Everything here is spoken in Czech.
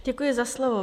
Děkuji za slovo.